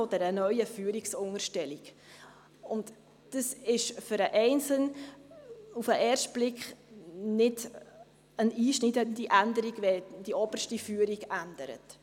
Auf den ersten Blick ist es für den Einzelnen nicht eine einschneidende Änderung, wenn die oberste Führung ändert.